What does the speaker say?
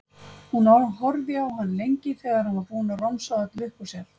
Hún horfði á hann lengi þegar hann var búinn að romsa öllu upp úr sér.